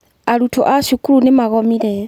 Arutwo a cukuru nĩ magomire.